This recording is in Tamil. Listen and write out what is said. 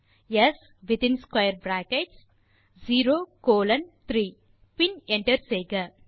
ஸ் இன் closing brackets square brackets 0 colon 3 பின் என்டர் செய்க